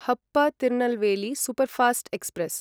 हप Tirunelveli superfast express